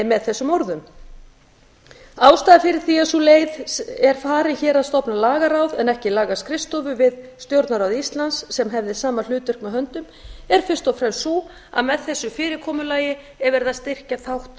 með þessum orðum ástæðan fyrir því að sú leið er farin hér að stofna lagaráð en ekki lagaskrifstofu við stjórnarráð íslands sem hefði sama hlutverk með höndum er fyrst og fremst sú að með þessu fyrirkomulagi er verið að styrkja þátt